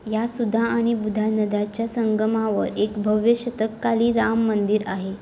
या सुधा आणि बुधा नद्यांच्या संगमावर एक भव्य शतकातील राम मंदिर आहे.